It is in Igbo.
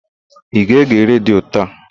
Ị ga-ege redio taa?